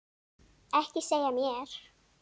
Ekki segja mér,